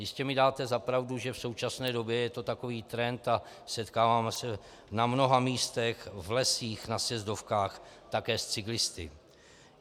Jistě mi dáte za pravdu, že v současné době je to takový trend a setkáváme se na mnoha místech, v lesích, na sjezdovkách také s cyklisty.